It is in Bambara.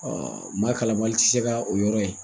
maa kalanbali tɛ se ka o yɔrɔ ye.